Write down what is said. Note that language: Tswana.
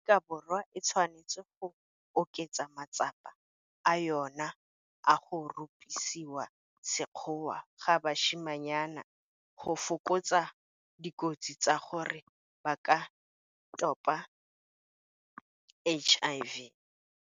Aforika Borwa e tshwanetse go oketsa matsapa a yona a go rupisiwa sekgowa ga basimanyana go fokotsa dikotsi tsa gore ba ka topa HIV.